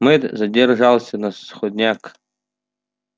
мэтт задержался на сходнях